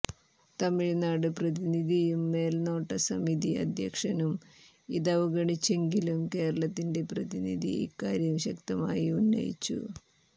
തമിഴ്നാട് പ്രതിനിധിയും മേൽനോട്ടസമിതി അധ്യക്ഷനും ഇതവഗണിച്ചെങ്കിലും കേരളത്തിന്റെ പ്രതിനിധി ഇക്കാര്യം ശക്തമായി ഉന്നയിച്ചു